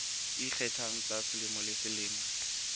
ikgethang tsa selemo le selemo